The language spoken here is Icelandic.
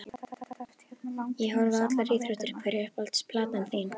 Ég horfi á allar íþróttir Hver er uppáhalds platan þín?